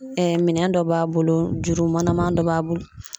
minɛn dɔ b'a bolo, juru manaman dɔ b'a bolo.